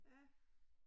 Ja